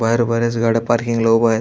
बाहेर बऱ्याच गाड्या पार्किंगला उभ्या आहेत.